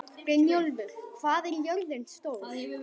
Brynjólfur, hvað er jörðin stór?